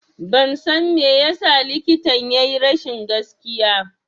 Ban san me yasa likitan ya yi rashin gaskiya